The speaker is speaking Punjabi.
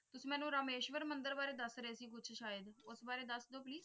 ਮੈਨੂੰ ਰਾਮੇਸ਼ਵਰ ਮੰਦਿਰ ਬਾਰੇ ਦੱਸ ਰਹੇ ਸੀ ਕੁਛ ਸ਼ਾਇਦ ਉਸ ਬਾਰੇ ਦੱਸ ਜੋ please